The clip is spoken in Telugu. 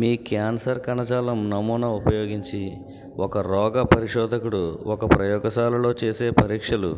మీ క్యాన్సర్ కణజాలం నమూనా ఉపయోగించి ఒక రోగ పరిశోధకుడు ఒక ప్రయోగశాలలో చేసే పరీక్షలు